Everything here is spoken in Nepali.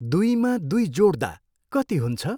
दुईमा दुई जोड्दा कति हुन्छ?